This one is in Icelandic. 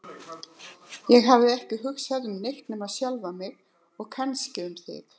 Ég hafði ekki hugsað um neitt nema sjálfa mig og kannski um þig.